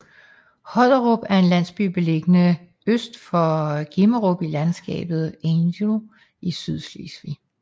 Hodderup er en landsby beliggende øst for Grimmerup i landskabet Angel i Sydslesvig